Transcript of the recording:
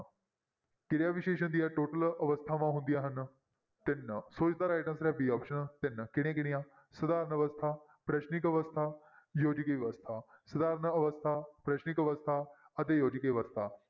ਕਿਰਿਆ ਵਿਸ਼ੇਸ਼ਣ ਦੀਆਂ total ਅਵਸਥਾਵਾਂ ਹੁੰਦੀਆਂ ਹਨ ਤਿੰਨ, ਸੋ ਇਸ ਦਾ right answer ਹੈ b option ਤਿੰਨ ਕਿਹੜੀਆਂ ਕਿਹੜੀਆਂ ਸਧਾਰਨ ਅਵਸਥਾ, ਪ੍ਰਸ਼ਨਿਕ ਅਵਸਥਾ, ਯੋਜਕ ਅਵਸਥਾ, ਸਧਾਰਨ ਅਵਸਥਾ, ਪ੍ਰਸ਼ਨਿਕ ਅਵਸਥਾ ਅਤੇ ਯੋਜਕ ਅਵਸਥਾ।